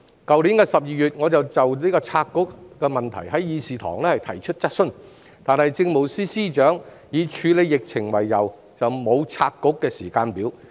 去年12月，我再就拆局事宜在議事堂上提出質詢，但政務司司長以處理疫情為由，沒有提出拆局的時間表。